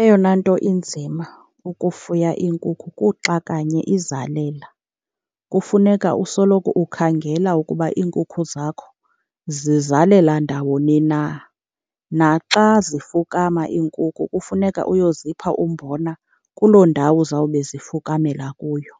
Eyona nto inzima ukufuya iinkukhu kuxa kanye izalela. Kufuneka usoloko ukhangela ukuba iinkukhu zakho zizalela ndawoni na, naxa zifukama iinkukhu kufuneka uyozipha umbona kuloo ndawo zawube zifukumamela kuyo.